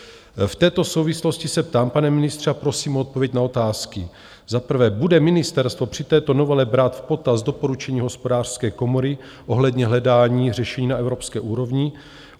V této souvislosti se ptám, pane ministře, a prosím o odpověď na otázky: Za prvé, bude ministerstvo při této novele brát v potaz doporučení Hospodářské komory ohledně hledání řešení na evropské úrovni?